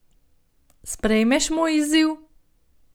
Sprejmeš moj izziv?